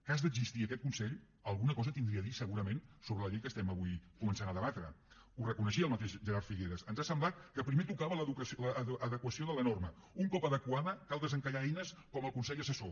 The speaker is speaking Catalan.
cas d’existir aquest consell alguna cosa tindria a dir segurament sobre la llei que estem avui començant a debatre ho reconeixia el mateix gerard figueras ens ha semblat que primer tocava l’adequació de la norma un cop adequada cal desencallar eines com el consell assessor